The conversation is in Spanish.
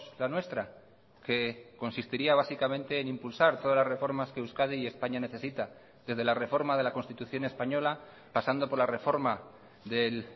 la nuestra que consistiría básicamente en impulsar todas las reformas que euskadi y españa necesita desde la reforma de la constitución española pasando por la reforma del